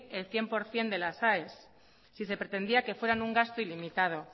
el cien por cien de las aes si se pretendía que fueran un gasto ilimitado